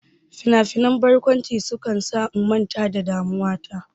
Finafinan barkwanci sukan sa in manta da damuwa ta.